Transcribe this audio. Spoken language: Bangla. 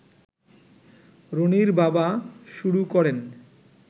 রনির বাবা শুরু করেন